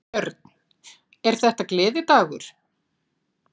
Björn: Er þetta gleðidagur?